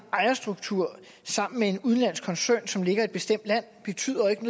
ejerstruktur sammen med en udenlandsk koncern som ligger i et bestemt land betyder ikke